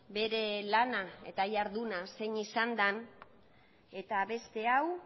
bere lana eta iharduna zein izan den eta beste hau